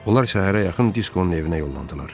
Onlar səhərə yaxın Diskonun evinə yollandılar.